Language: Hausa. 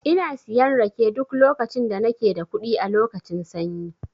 Ina siyan rake duk lokacin da nake da kuɗi a lokacin sanyi.